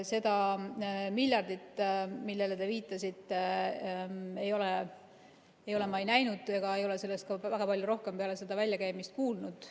Seda miljardit, millele te viitasite, ei ole ma näinud ega ole sellest väga palju rohkem peale selle väljakäimist kuulnud.